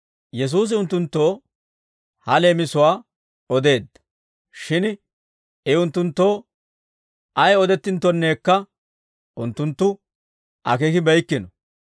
Yesuusi unttunttoo ha leemisuwaa odeedda; shin I unttunttoo ay odinttonekka unttunttu akeekibeykkino.